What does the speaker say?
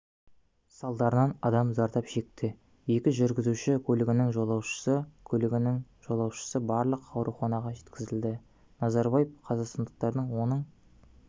салдарынан адам зардап шекті екі жүргізуші көлігінің жолаушысы көлігінің жолаушысы барлығы ауруханаға жеткізілді назарбаев қазақстандықтар оның